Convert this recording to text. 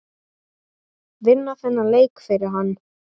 Vinna þennan leik fyrir hann!